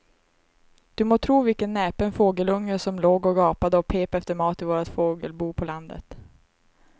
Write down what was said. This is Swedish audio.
Du må tro vilken näpen fågelunge som låg och gapade och pep efter mat i vårt fågelbo på landet.